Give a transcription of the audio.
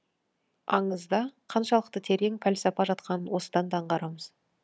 аңызда қаншалықты терең пәлсапа жатқанын осыдан да аңғарамыз